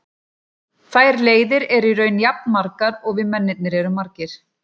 Þær leiðir eru í raun jafn margar og við mennirnir erum margir.